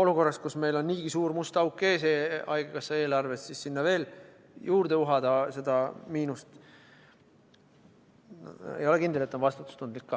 olukorras, kus meil on niigi suur must auk ees haigekassa eelarves, siis sinna veel juurde uhada seda miinust – ei ole kindel, et see on ka vastutustundlik.